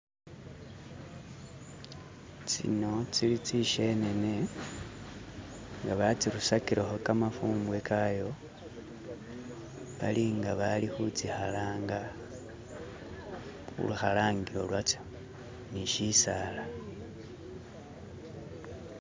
tsino tsili tsishenene nga batsirusakileho kamafumbwe kayo balinga bali khutsihalanga khu lukhalangilo lwatso nishisaala.